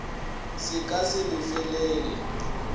se ka se e lefelele